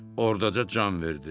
Ordaca can verdi.